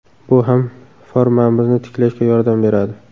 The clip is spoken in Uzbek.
Bu ham formamizni tiklashga yordam beradi.